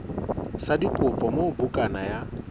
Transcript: sa dikopo moo bukana ya